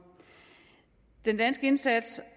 den danske indsats